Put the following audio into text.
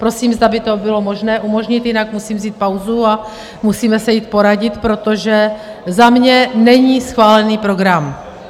Prosím, zda by to bylo možné umožnit, jinak musím vzít pauzu a musíme se jít poradit, protože za mě není schválený program.